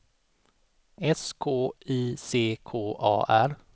S K I C K A R